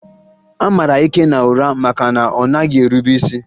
A mara Ikenna ụra maka na ọ naghị erube isi